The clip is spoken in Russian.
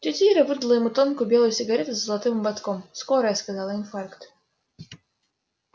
тётя ира выдала ему тонкую белую сигарету с золотым ободком скорая сказала инфаркт